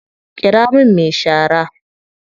Ƙira min me shara.